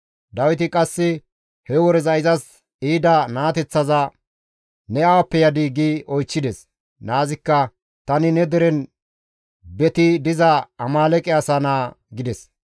Dawiti qasse he woreza izas ehida naateththaza, «Ne awappe yadii?» gi oychchides. Naazikka, «Tani ne deren beti diza Amaaleeqe asa naa» gides.